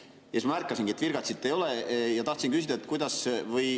Ja siis ma märkasingi, et virgatsit ei ole, ja tahtsin küsida, et kuidas …